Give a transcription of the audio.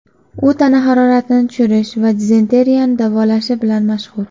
U tana haroratini tushirish va dizenteriyani davolashi bilan mashhur.